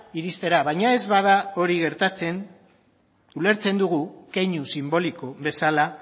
iristera baina ez bada hori gertatzen ulertzen dugu keinu sinboliko bezala